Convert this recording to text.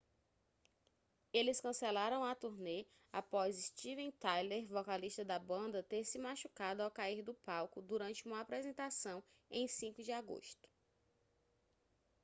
eles cancelaram a turnê após steven tyler vocalista da banda ter se machucado ao cair do palco durante uma apresentação em 5 de agosto